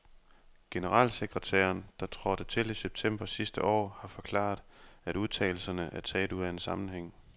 Generalsekretæren, der trådte til i september sidste år, har forklaret, at udtalelserne er taget ud af en sammenhæng.